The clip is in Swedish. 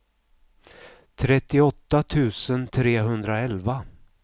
trettioåtta tusen trehundraelva